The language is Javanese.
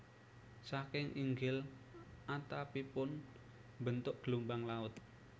Saking inggil atapipun mbentuk gelombang laut